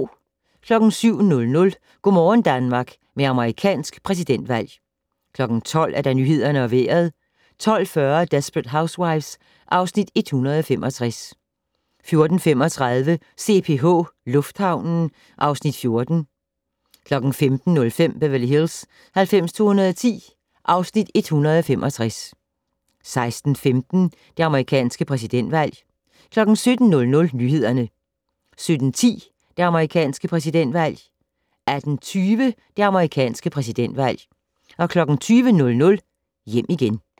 07:00: Go' morgen Danmark med amerikansk præsidentvalg 12:00: Nyhederne og Vejret 12:40: Desperate Housewives (Afs. 165) 14:35: CPH Lufthavnen (Afs. 14) 15:05: Beverly Hills 90210 (Afs. 165) 16:15: Det amerikanske præsidentvalg 17:00: Nyhederne 17:10: Det amerikanske præsidentvalg 18:20: Det amerikanske præsidentvalg 20:00: Hjem igen